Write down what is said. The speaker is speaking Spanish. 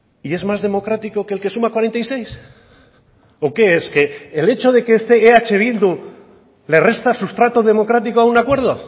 y es más democrático que el que suma cuarenta y seis o qué es que el hecho de que esté eh bildu le resta sustrato democrático a un acuerdo